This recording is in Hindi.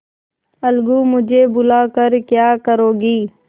अलगूमुझे बुला कर क्या करोगी